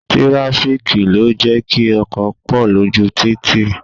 Tirafiki ló jẹ́ kí ọkọ̀ pọ lójú títì